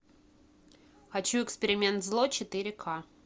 хочу эксперимент зло четыре ка